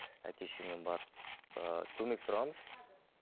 әке шешеммен барып ы көмек сұрағанбыз